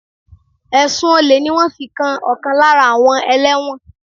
Ẹ̀sùn Olè ni wọ́n fi kan ọ̀kan lára àwọn ẹlẹ́wọ̀n